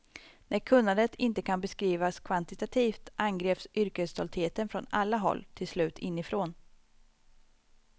När kunnandet inte kan beskrivas kvantitativt angrips yrkesstoltheten från alla håll, till slut inifrån.